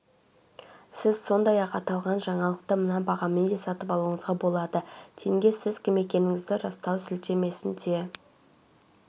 сіз сондай-ақ аталған жаңалықты мына бағамен де сатып алуыңызға болады тенге сіз кім екендігіңізді растау сілтемесіне